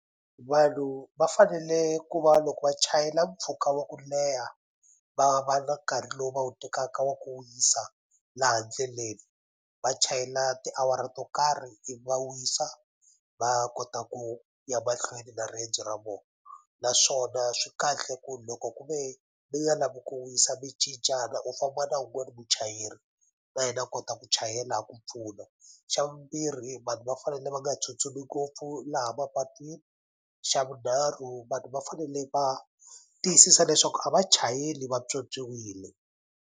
Vanhu va fanele ku va loko va chayela mpfhuka wa ku leha va va na nkarhi lowu va wu tekaka wa ku wisa laha ndleleni va chayela tiawara to karhi ivi va wisa va kota ku ya mahlweni na riendzo ra vona naswona swi kahle ku loko ku ve mi nga lavi ku wisa mi cincana u famba na wun'wani muchayeri na yena a kota ku chayela a ku pfuna xavumbirhi vanhu va fanele va nga tsutsumi ngopfu laha mapatwini xavunharhu vanhu va fanele va tiyisisa leswaku a va chayeli va pyopyiwile.